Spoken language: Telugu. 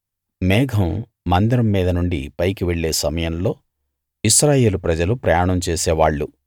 మేఘం మందిరం మీద నుండి పైకి వెళ్ళే సమయంలో ఇశ్రాయేలు ప్రజలు ప్రయాణం చేసేవాళ్ళు